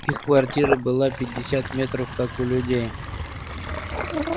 их квартира была пятьдесят метров как у людей